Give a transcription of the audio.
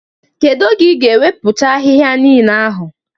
Kedu oge ị ga-ewepụcha ahịhịa niile ahụ?